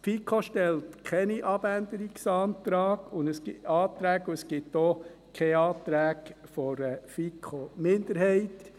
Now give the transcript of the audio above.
Die FiKo stellt keine Abänderungsanträge, und es gibt auch keine Anträge einer FiKo-Minderheit.